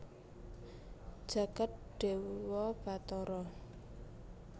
jagat dewa batara